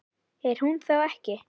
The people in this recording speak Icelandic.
Er hún þá ekki?